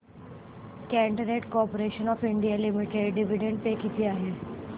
container corporation of India limited dividend pay किती आहे